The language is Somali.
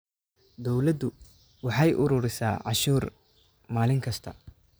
Dawladdu waxay ururisaa cashuur maalin kasta